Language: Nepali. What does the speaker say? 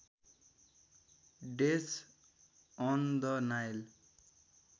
death on the Nile